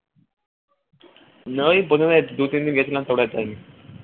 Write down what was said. না ওই প্রথমে দুতিনদিন গেছিলাম তারপরে আর যাইনি